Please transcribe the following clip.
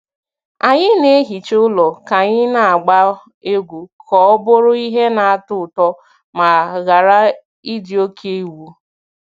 Anyị na-ehicha ụlọ ka anyị na-agba egwu ka ọ bụrụ ihe na-atọ ụtọ ma ghara ịdị oke iwu.